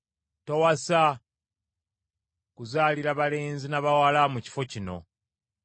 “Towasa, kuzaalira balenzi na bawala mu kifo kino.